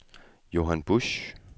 Johan Busch